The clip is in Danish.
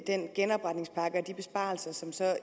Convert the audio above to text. den genopretningspakke og de besparelser som